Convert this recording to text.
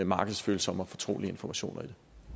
markedsfølsomme og fortrolige informationer